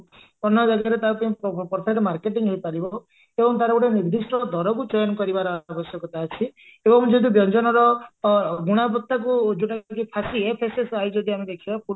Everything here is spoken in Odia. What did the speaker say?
ଅନ୍ୟ ଜାଗାରେ ତା ପାଇଁ marketing ହେଇପାରିବ ଏବଂ ତାରଗୋଟେ ନିର୍ଦିଷ୍ଟ ଦରକୁ change କରିବାର ଆବଶ୍ୟକତା ଅଛି ଏବଂ ଯଦି ବ୍ୟଞ୍ଜନର ଅ ଗୁଣାବତାକୁ ଯଉଟାକି ଯଦି ଆମେ ଦେଖିବା